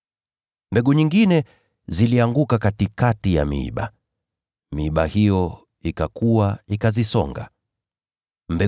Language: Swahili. Mbegu nyingine zilianguka kwenye miiba, nayo miiba hiyo ikakua, ikaisonga hiyo mimea.